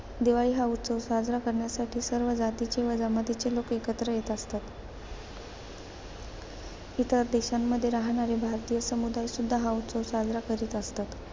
दिवाळी हा उत्सव साजरा करण्यासाठी सर्व जातीचे व जमातीचे लोक एकत्र येत असतात. इतर देशांमध्ये राहणारे भारतीय समुदाय सुद्धा हा उत्सव साजरा करीत असतात.